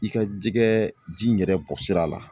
I ka jɛgɛ ji yɛrɛ bɔsira la.